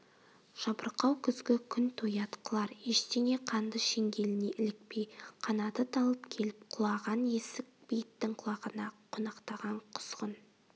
жабырқау күзгі күн тоят қылар ештеңе қанды шеңгеліне ілікпей қанаты талып келіп құлаған есік бейіттің құлағына қонақтаған құзғын